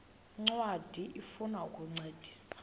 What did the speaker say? ncwadi ifuna ukukuncedisa